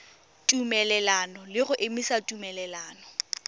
tumelelano le go emisa tumelelano